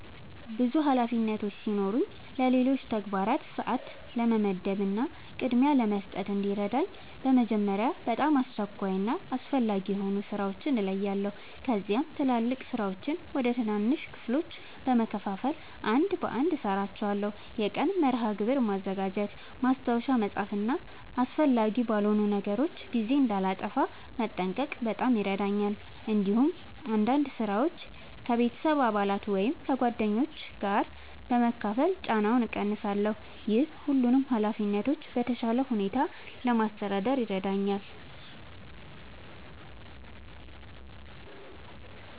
ብዙ ኃላፊነቶች ሲኖሩኝ ለሌሎች ተግባራት ሰአት ለመመደብ እና ቅድሚያ ለመስጠት እንዲረዳኝ በመጀመሪያ በጣም አስቸኳይ እና አስፈላጊ የሆኑ ሥራዎችን እለያለሁ። ከዚያም ትላልቅ ሥራዎችን ወደ ትናንሽ ክፍሎች በመከፋፈል አንድ በአንድ እሠራቸዋለሁ። የቀን መርሃ ግብር ማዘጋጀት፣ ማስታወሻ መጻፍ እና አስፈላጊ ባልሆኑ ነገሮች ጊዜ እንዳላጠፋ መጠንቀቅ በጣም ይረዳኛል። እንዲሁም አንዳንድ ሥራዎችን ከቤተሰብ አባላት ወይም ከጓደኞች ጋር በመካፈል ጫናውን እቀንሳለሁ። ይህ ሁሉንም ኃላፊነቶች በተሻለ ሁኔታ ለማስተዳደር ይረዳኛል።